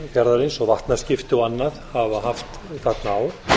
fjarðarins og vatnaskipta og annað hafa haft þarna á